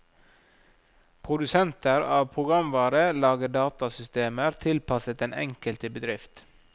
Produsenter av programvare lager datasystemer tilpasset den enkelte bedrift.